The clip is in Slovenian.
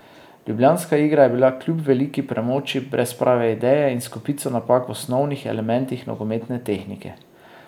Ljubljanska igra je bila kljub veliki premoči brez prave ideje in s kopico napak v osnovnih elementih nogometne tehnike.